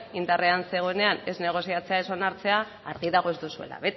indarrean zegoenean ez negoziatzea ez onartzea argi dago ez duzuela